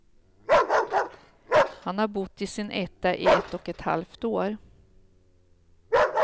Han har bott i sin etta i ett och ett halvt år.